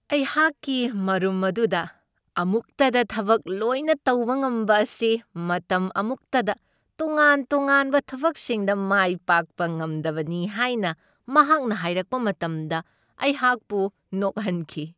ꯑꯩꯍꯥꯛꯀꯤ ꯃꯔꯨꯝ ꯑꯗꯨꯅ ꯑꯃꯨꯛꯇꯗ ꯊꯕꯛ ꯂꯣꯏꯅ ꯇꯧꯕ ꯉꯝꯕ ꯑꯁꯤ ꯃꯇꯝ ꯑꯃꯨꯛꯇꯗ ꯇꯣꯉꯥꯟ ꯇꯣꯉꯥꯟꯕ ꯊꯕꯛꯁꯤꯡꯗ ꯃꯥꯏ ꯄꯥꯛꯄ ꯉꯝꯗꯕꯅꯤ ꯍꯥꯏꯅ ꯃꯍꯥꯛꯅ ꯍꯥꯏꯔꯛꯄ ꯃꯇꯝꯗ ꯑꯩꯍꯥꯛꯄꯨ ꯅꯣꯛꯍꯟꯈꯤ ꯫